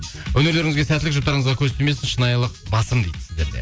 өнерлеріңізге сәттілік жұптарыңызға көз тимесін шынайылық басым дейді сіздерде